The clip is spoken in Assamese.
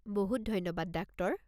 বহুত ধন্যবাদ ডাক্টৰ।